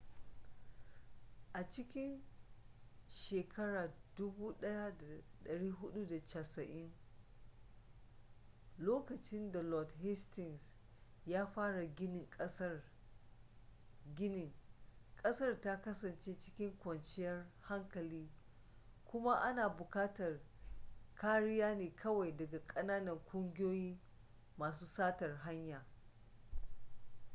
a cikin 1480s lokacin da lord hastings ya fara ginin ƙasar ta kasance cikin kwanciyar hankali kuma ana buƙatar kariya ne kawai daga ƙananan ƙungiyoyin masu satar hanya